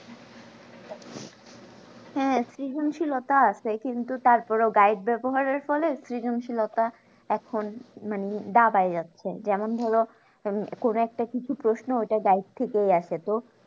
হ্যাঁ সৃজনশীলতা আছে কিন্তু তারপরেও guide ব্যবহারের ফলে সৃজন শীলতা এখন মানে দাবায় যাচ্ছে যেমন ধরো কোনো একটা কিছু প্রশ্ন এটা guide আসে তো